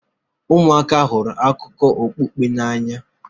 ụmụaka hụrụ akụkọ okpukpe n'anya